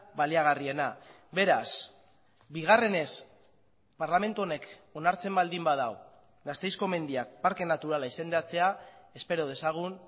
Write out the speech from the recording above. baliagarriena beraz bigarrenez parlamentu honek onartzen baldin badu gasteizko mendiak parke naturala izendatzea espero dezagun